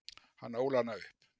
Hann ól hana upp.